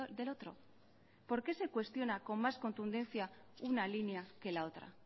del otro por qué se cuestiona con más contundencia una línea que la otra